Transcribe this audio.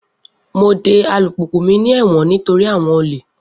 Mo de alupupu mi ni ẹwọn nitori awọn ole